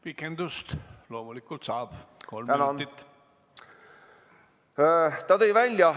Pikendust loomulikult saab.